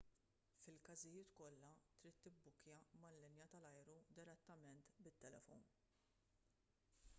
fil-każijiet kollha trid tibbukkja mal-linja tal-ajru direttament bit-telefon